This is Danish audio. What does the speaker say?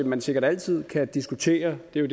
man sikkert altid kan diskutere det er